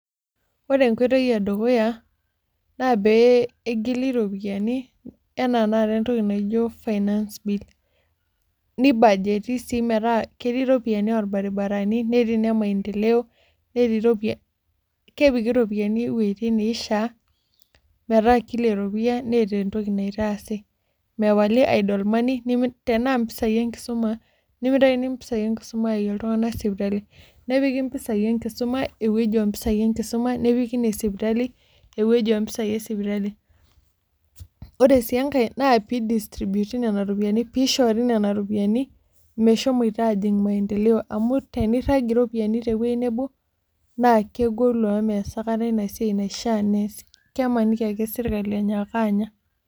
Ore enkoitoi edukuya naa pee egili iropiyiani, anaa tenakata entoki naijo finance bill nibajeti sii metaa ketii iropiyiani olbaribarani, netii ine maendeleo, netii iropiyiani. Kepiki iropiyiani iwuejitin neishaa, metaa kila eropiyia neeta entoki naitaasi, mepali idle money tenaa mpisai enkisoma nimitayuni mpisai enkurma ayayie iltung'ank sipitali, nepiki mpisai enkisoma ewueji enkisoma, nepiki ine sipitali ewueji oo mpisai e esipitali. Ore sii enkae na pee i distribute nena ropoiyiani, pee ishoori nena ropiyiani, meshomoito aajing' maendeleo amu tenirrag iropiyiani tewuei nebo naa kegolu amu mes aikata ina siai naifaa nees, kemaniki ake sirkali enyaaka anya.